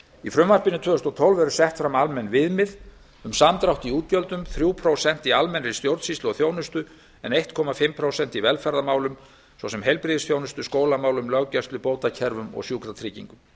í frumvarpinu tvö þúsund og tólf eru sett fram almenn viðmið um samdrátt í útgjöldum þrjú prósent í almennri stjórnsýslu og þjónustu en eins og hálft prósent í velferðarmálum svo sem heilbrigðisþjónustu skólamálum löggæslu bótakerfum og sjúkratryggingum